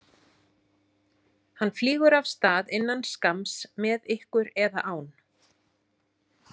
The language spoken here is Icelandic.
Hann flýgur af stað innan skamms, með ykkur eða án.